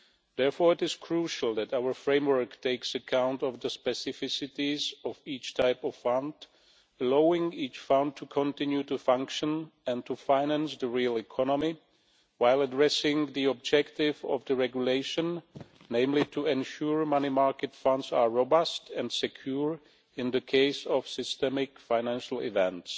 Therefore it is crucial that our framework takes account of the specificities of each type of fund, allowing each fund to continue to function and to finance the real economy, while addressing the objective of the regulation, namely to ensure money market funds are robust and secure in the case of systemic financial events.